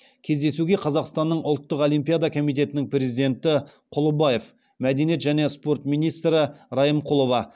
кездесуге қазақстанның ұлттық олимпиада комитетінің президенті құлыбаев мәдениет және спорт министрі райымқұлова